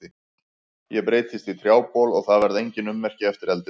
Ég breytist í trjábol og það verða engin ummerki eftir eldinn.